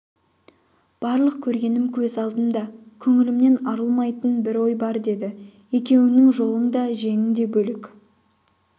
барлық көргенім көз алдымда көңілімнен арылмайтын бір ой бар деді екеуіңнің жолың да женің де бөлек